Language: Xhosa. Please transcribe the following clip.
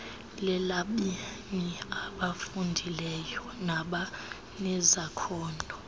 lelabemi abafundileyo nabanezakhono